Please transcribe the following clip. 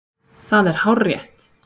Það er hárrétt!